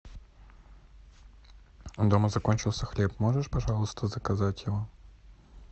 дома закончился хлеб можешь пожалуйста заказать его